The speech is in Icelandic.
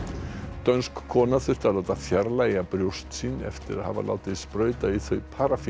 dönsk kona þurfti að láta fjarlægja brjóst sín eftir að hafa látið sprauta í þau